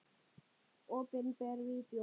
Opinber Vídeó